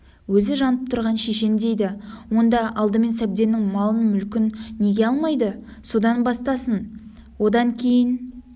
өзі жанып тұрған шешен дейді онда алдымен сәбденнің малын мүлкін неге алмайды содан бастасын одан кейін